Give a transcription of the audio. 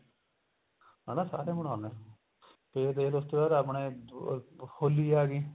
ਹਨਾ ਸਾਰੇ ਮਨਾਉਂਦੇ ਨੇ ਤੇ ਫੇਰ ਉਸ ਦੇ ਬਾਅਦ ਆਪਣੇ ਹੋਲੀ ਆ ਗਈ